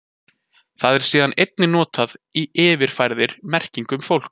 Það er síðan einnig notað í yfirfærðri merkingu um fólk.